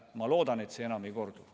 Ma loodan, et see enam ei kordu.